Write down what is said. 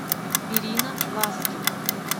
ирина ласкина